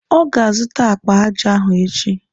Ọ azụta akpa aja ahụ echi.